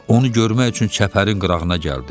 Onu görmək üçün çəpərin qırağına gəldi.